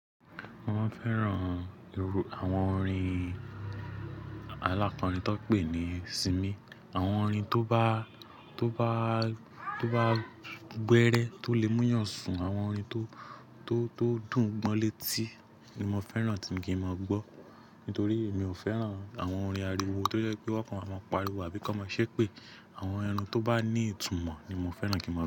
Mo máa ń fẹ́ràn iru, àwọn orin alákorìn tóun pè ní simí. Àwọn orin tó bá, tó bá, tó bá gbẹrẹ, tó lè múyàn sùn, àwọn orin tó, tó, tó dùn gbo létí ni mo fẹ́ràn tí ń kín máa gbọ́. Nítorí èmi ò fẹ́ràn àwọn orin àríwo tó jẹ́ pé wọ́n kàn máa ń pariwo àbí kọ máa ṣépè. Àwọn ẹnu tó bá ní ìtumọ̀ ni mo fẹ́ràn kí n máa gbọ́